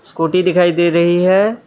Scooty दिखाई दे रही है।